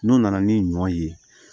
N'o nana ni ɲɔ ye